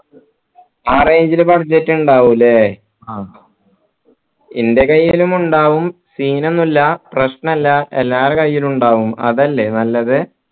ആ range ൽ budget ഇണ്ടാഉ അല്ലെ ആ എൻ്റെ കൈയിലുമുണ്ടാവും scene ഒന്നില്ലാ പ്രശ്നില്ല എല്ലാരെ കയ്യിലും ഇണ്ടാവും അതല്ലേ നല്ലത്